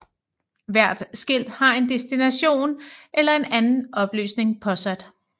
Hvert skilt har en destination eller en anden oplysning påsat